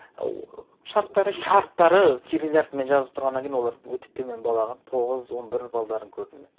шарттары дейсің ғой шарттары кирил әріпімен жазылып тұрғаннан кейін олар өте төмен бал алған тоғыз он бір балдарын көрдім мен